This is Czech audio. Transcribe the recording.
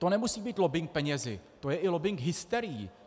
To nemusí být lobbing penězi, to je i lobbing hysterií.